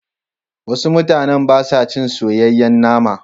Wasu mutanen ba sa ci soyayyen nama.